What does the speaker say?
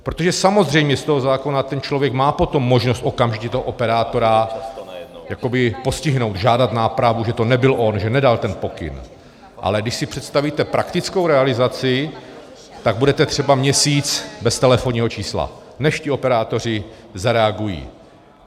Protože samozřejmě z toho zákona ten člověk má potom možnost okamžitě toho operátora jakoby postihnout, žádat nápravu, že to nebyl on, že nedal ten pokyn, ale když si představíte praktickou realizaci, tak budete třeba měsíc bez telefonního čísla, než ti operátoři zareagují.